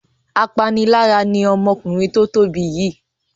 Apanilára ni ọmọkùnrin tó tóbi yìí.